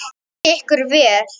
Gangi ykkur vel.